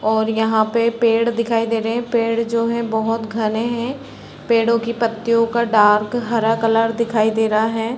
और यहाँ पे पेड़ दिखाई दे रहे है पेड़ जो है बहुत घने है पेड़ो की पत्तियों का डार्क हरा कलर दिखाई दे रहा है।